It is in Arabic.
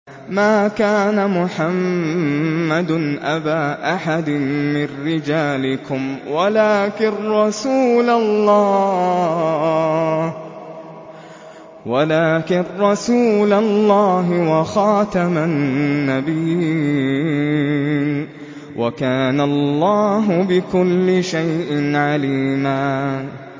مَّا كَانَ مُحَمَّدٌ أَبَا أَحَدٍ مِّن رِّجَالِكُمْ وَلَٰكِن رَّسُولَ اللَّهِ وَخَاتَمَ النَّبِيِّينَ ۗ وَكَانَ اللَّهُ بِكُلِّ شَيْءٍ عَلِيمًا